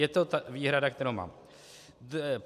Je to výhrada, kterou mám.